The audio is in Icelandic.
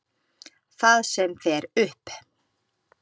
Það sem fer upp.